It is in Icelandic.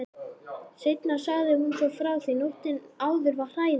Seinna sagði hún svo frá því: Nóttin áður var hræðileg.